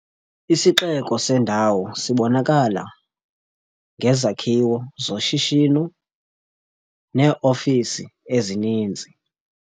Isixeko sendawo sibonakala ngezakhiwo zoshishino neeofisi ezininzi.